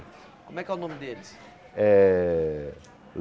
Como é que é o nome deles? Eh